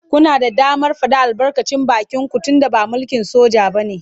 Kuna da damar faɗar albarkacin bakinku tunda ba mulkin soja ba ne.